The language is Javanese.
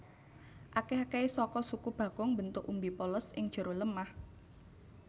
Akèh akèhé saka suku bakung mbentuk umbi polos ing jero lemah